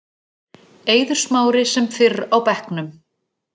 Eiður Smári sem fyrr á bekknum